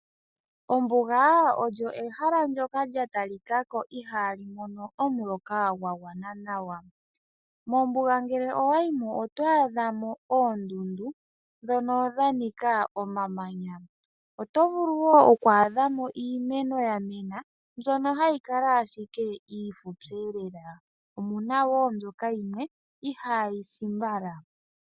Ombuga oyo ehala ndyoka lya talika ko ihaali mono omuloka gwagwana nawa. Mombuga ohamu adhika oondundu ndhono dhanika omamanya, ohamu adhika woo iimeno yamena mbyono hayi kala ashike iifupi. Omuna woo mbyoka yimwe ihaayi si mbala.